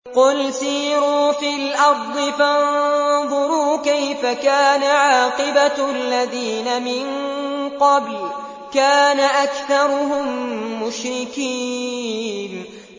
قُلْ سِيرُوا فِي الْأَرْضِ فَانظُرُوا كَيْفَ كَانَ عَاقِبَةُ الَّذِينَ مِن قَبْلُ ۚ كَانَ أَكْثَرُهُم مُّشْرِكِينَ